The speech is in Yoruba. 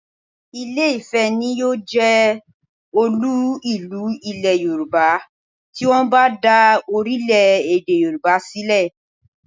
Ìlé-ifẹ̀ ni yóò jẹ́ olú ìlú Ilẹ̀ Yorùbá tí wọ́n bá dá orílẹ̀-èdè Yorùbá sílẹ̀